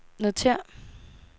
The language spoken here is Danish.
notér